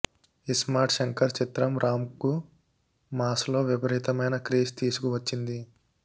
ఇస్మార్ట్ శంకర్ చిత్రం రామ్ కు మాస్ లో విపరీతమై క్రేజ్ తీసుకువచ్చింది